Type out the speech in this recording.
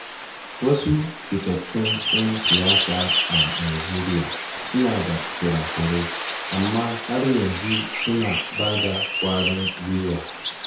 Wasu fitattun ‘yan siyasa a Najeriya suna da kura-kurai, amma har yanzu suna ba da kwarin gwiwa.